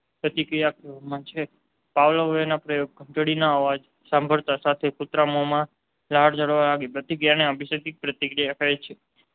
પ્રતિક્રિયા કહેવાય છે. પાવલીવના પ્રયોગમાં ઘંટડીનો અવાજ સાંભળતાંની સાથે કૂતરાના મોંમાં લાળ ઝરવાની પ્રતિક્રિયાને અભિસંધિત પ્રતિક્રિયા કહે છે.